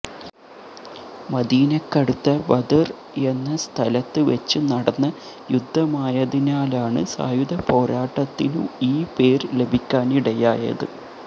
മദീനക്കടുത്ത Badr എന്ന സ്ഥലത്ത് വെച്ച് നടന്ന യുദ്ധമായതിനാലാണ് സായുധപോരാട്ടത്തിനു ഈ പേര് ലഭിക്കാനിടയായത്